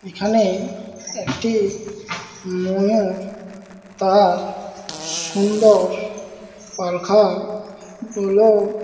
এখানে একটি ময়ূর তার সুন্দর পাখাগুলো--